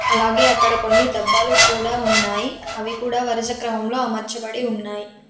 అలాగే అక్కడ కొన్ని డబ్బాలు కూడా ఉన్నాయ్. అవి కూడా వరుసక్రమంలో అమర్చబడి ఉన్నాయ్.